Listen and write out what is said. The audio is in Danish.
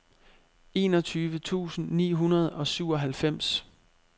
enogtyve tusind ni hundrede og syvoghalvfems